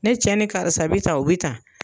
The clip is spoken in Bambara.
Ne cɛ ni karisa bɛ ta o bɛ ta